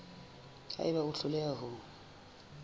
ha eba o hloleha ho